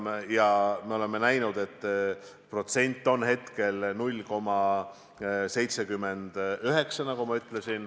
Nagu ma ütlesin, me oleme näinud, et see protsent on praegu 0,79.